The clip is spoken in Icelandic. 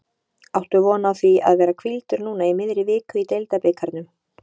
Áttu von á því að vera hvíldur núna í miðri viku í deildabikarnum?